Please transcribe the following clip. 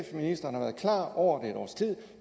ministeren klar over et års tid